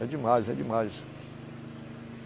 É demais, é demais.